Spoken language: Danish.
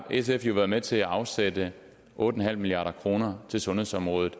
sf jo været med til at afsætte otte milliard kroner til sundhedsområdet